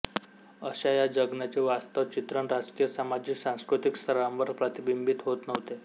अशा या जगण्याचे वास्तव चित्रण राजकीय सामाजिक सास्कृतिक स्तरांवर प्रतिबिंबित होत नव्हते